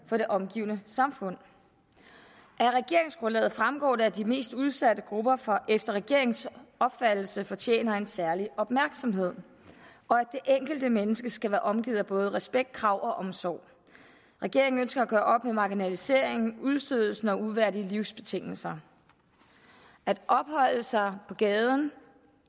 for det omgivende samfund af regeringsgrundlaget fremgår det at de mest udsatte grupper efter regeringens opfattelse fortjener en særlig opmærksomhed og at det enkelte menneske skal være omgivet af både respekt krav og omsorg regeringen ønsker at gøre op med marginaliseringen udstødelsen og uværdige livsbetingelser at opholde sig på gaden